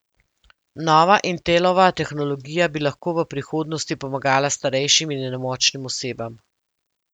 Nova Intelova tehnologija bi lahko v prihodnosti pomagala starejšim in nemočnim osebam.